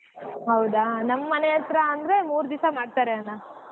ಹೌದಾ ನಮ್ ಮನೆ ಹತ್ರ ಅಂದ್ರೆ ಮೂರ್ ದಿವ್ಸ ಮಾಡ್ತಾರೆ ಅಣ್ಣಾ.